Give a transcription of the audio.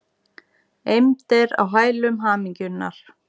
Eymd er á hælum hamingjunnar.